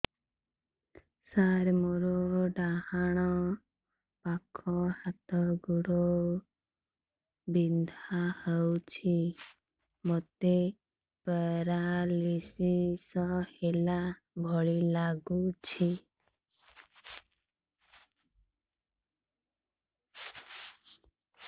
ସାର ମୋର ଡାହାଣ ପାଖ ହାତ ଗୋଡ଼ ବିନ୍ଧା କରୁଛି ମୋତେ ପେରାଲିଶିଶ ହେଲା ଭଳି ଲାଗୁଛି